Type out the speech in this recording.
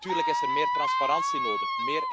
En natuurlijk is er meer transparantie nodig.